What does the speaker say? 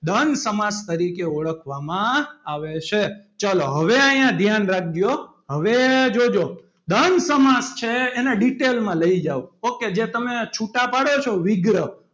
દ્રંદ સમાસ તરીકે ઓળખવામાં આવે છે. ચલો હવે અહીંયા ધ્યાન રાખજો હવે જોજો દ્રંદ સમાસ છે. એને detail માં લઈ જાવ ok તમે જે છુટા પાડો છો વિગ્રહ,